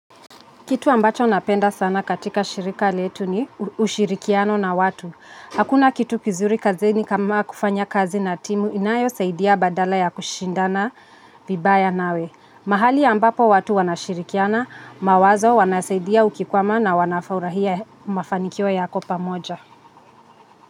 Kitu ambacho napenda sana katika shirika letu ni ushirikiano na watu. Hakuna kitu kizuri kazini kama kufanya kazi na timu inayo saidia badala ya kushindana vibaya nawe. Mahali ambapo watu wanashirikiana mawazo wanasaidia ukikwama na wanafaurahia fanikio yako pamoja.